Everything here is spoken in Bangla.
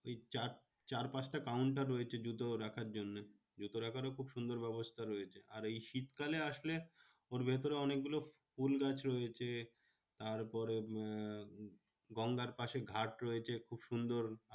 চার পাঁচটা counter রয়েছে জুতো রাখার জন্যে। জুতো রাখারও খুব সুন্দর ব্যবস্থা রয়েছে। আর এই শীতকালে আসলে ওর ভেতরে অনেকগুলো ফুলগাছ রয়েছে। তারপরে আহ গঙ্গার পাশে ঘাট রয়েছে খুব সুন্দর।